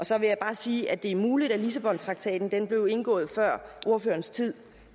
så vil jeg bare sige at det er muligt at lissabontraktaten blev indgået før ordførerens tid